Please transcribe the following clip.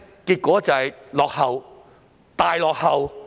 結果是落後，大落後。